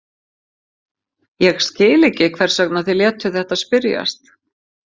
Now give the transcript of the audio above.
Ég skil ekki, hvers vegna þið létuð þetta spyrjast.